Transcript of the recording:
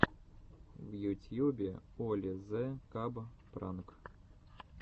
в ютьюбе оли зе каб пранк